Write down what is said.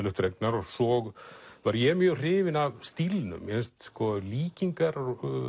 upp dregnar svo var ég mjög hrifinn af stílnum mér finnst líkingar